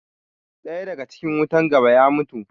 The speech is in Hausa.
Ɗaya daga cikin wutan gaba ya mutu.